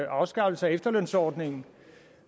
afskaffelse af efterlønsordningen